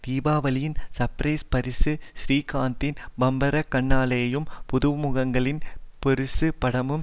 தீபாவளியின் surprise பரிசு ஸ்ரீகாந்தின் பம்பரக்கண்ணாலேயும் புதுமுகங்களின் பெருசு படமும்